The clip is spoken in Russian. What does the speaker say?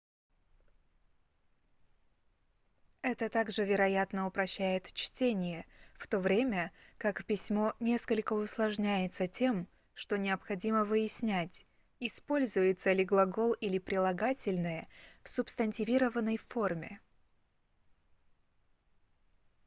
это также вероятно упрощает чтение в то время как письмо несколько усложняется тем что необходимо выяснять используется ли глагол или прилагательное в субстантивированной форме